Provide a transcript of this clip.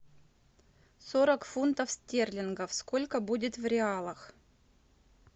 сорок фунтов стерлингов сколько будет в реалах